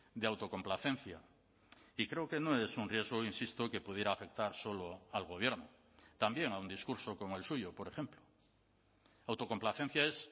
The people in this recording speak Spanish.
de autocomplacencia y creo que no es un riesgo insisto que pudiera afectar solo al gobierno también a un discurso como el suyo por ejemplo autocomplacencia es